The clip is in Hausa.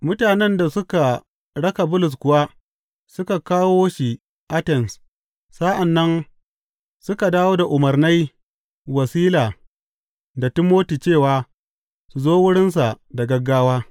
Mutanen da suka raka Bulus kuwa suka kawo shi Atens sa’an nan suka dawo da umarnai wa Sila da Timoti cewa su zo wurinsa da gaggawa.